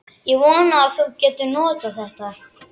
Ég vona að þú getir notað þetta.